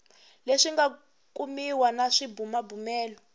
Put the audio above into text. leswi nga kumiwa na swibumabumelo